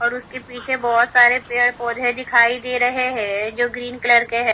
और उसके पीछे बहत सारे पेड़ पौधे दिखाई दे रहे है जो ग्रीन कलर के है।